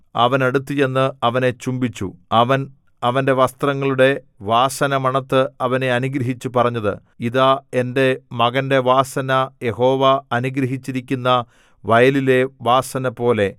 അവൻ അടുത്തുചെന്ന് അവനെ ചുംബിച്ചു അവൻ അവന്റെ വസ്ത്രങ്ങളുടെ വാസന മണത്ത് അവനെ അനുഗ്രഹിച്ചു പറഞ്ഞത് ഇതാ എന്റെ മകന്റെ വാസന യഹോവ അനുഗ്രഹിച്ചിരിക്കുന്ന വയലിലെ വാസനപോലെ